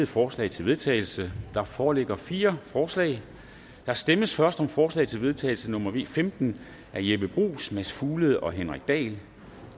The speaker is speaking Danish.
forslag til vedtagelse der foreligger fire forslag der stemmes først om forslag til vedtagelse nummer v femten af jeppe bruus mads fuglede og henrik dahl